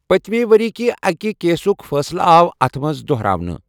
پٔتمہِ ؤرۍ یہِ کہِ اَکہِ کیسُک فٲصلہٕ آو اَتھ منٛز دہراونہٕ۔